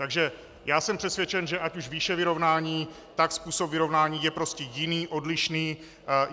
Takže já jsem přesvědčen, že ať už výše vyrovnání, tak způsob vyrovnání je prostě jiný, odlišný.